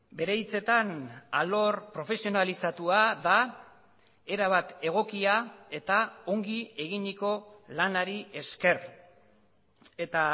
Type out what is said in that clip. bere hitzetan alor profesionalizatua da erabat egokia eta ongi eginiko lanari esker eta